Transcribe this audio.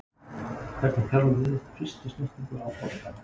Hvernig þjálfum við upp fyrstu snertingu á bolta?